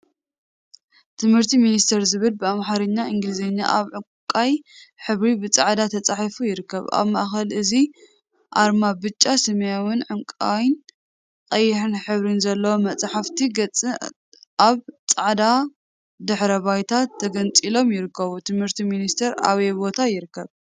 ትምህርቲ ሚኒስቴር ዝብል ብአምሓርኛን እንግሊዘኛን አብ ዕንቋይ ሕብሪ ብፃዕዳ ተፃሒፉ ይርከብ፡፡ አብ ማእከል እዚ አርማ ብጫ፣ ሰማያዊ፣ ዕንቋይን ቀይሕን ሕብሪ ዘለዎም ናይ መፅሓፍ ገፃት አብ ፃዕዳ ድሕረ ባይታ ተገንፂሎም ይርከቡ፡፡ ትምህርቲ ሚኒስቴር አበይ ቦታ ይርከብ?